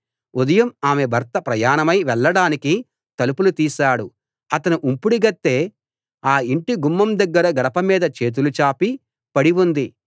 ఉదయం ఆమె భర్త ప్రయాణమై వెళ్ళడానికి తలుపులు తీశాడు అతని ఉంపుడుగత్తె ఆ ఇంటి గుమ్మం దగ్గర గడప మీద చేతులు చాపి పడి ఉంది